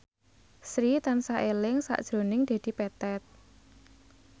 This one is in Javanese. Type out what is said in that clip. Sri tansah eling sakjroning Dedi Petet